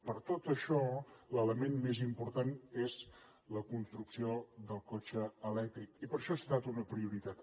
per tot això l’element més important és la construcció del cotxe elèctric i per això ha estat una prioritat